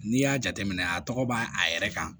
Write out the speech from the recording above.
N'i y'a jateminɛ a tɔgɔ b'a a yɛrɛ kan